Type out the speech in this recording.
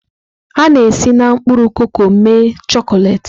A na-esi na mkpụrụ koko mee chọkolet.